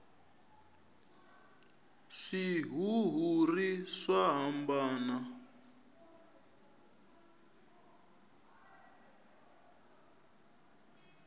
swihuhiri swa hambana